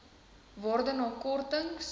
waarde na kortings